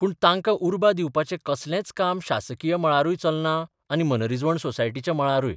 पूण तांकां उर्बा दिवपाचें कसलेच काम शासकीय मळारूय चलना आनी मनरिजवण सोसायटीच्या मळारूय.